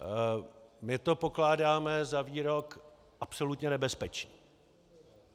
My to pokládáme za výrok absolutně nebezpečný.